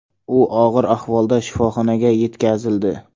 U og‘ir ahvolda shifoxonaga yetkazildi.